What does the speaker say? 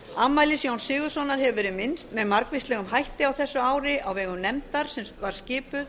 afmælis jóns sigurðssonar hefur verið minnst með margvíslegum hætti á þessu ári á vegum nefndar sem var skipuð